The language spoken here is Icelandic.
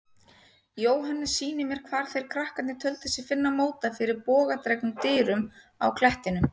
Jóhannes sýnir mér hvar þeir krakkarnir töldu sig finna móta fyrir bogadregnum dyrum á klettinum.